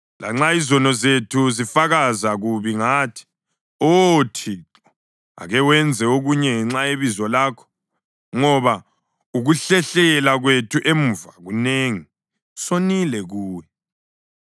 Lanxa izono zethu zifakaza kubi ngathi, Oh Thixo, ake wenze okunye ngenxa yebizo lakho. Ngoba ukuhlehlela kwethu emuva kunengi; sonile kuwe.